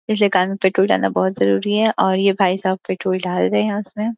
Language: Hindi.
इसलिए कार में पट्रोल डालना बहुत जरूरी है और ये भाई साहब पट्रोल डाल रहे हैं उसमे।